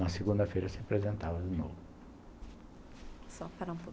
Na segunda-feira se apresentava de novo. Só parar um pouco